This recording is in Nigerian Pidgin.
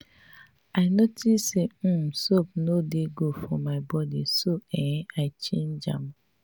i notice say dat um soap no dey good for my body so um i change am am